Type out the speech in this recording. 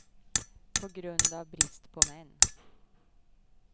På grund av brist på män.